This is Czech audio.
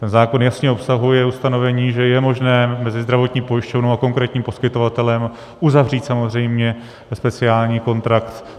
Ten zákon jasně obsahuje ustanovení, že je možné mezi zdravotní pojišťovnou a konkrétním poskytovatelem uzavřít samozřejmě speciální kontrakt.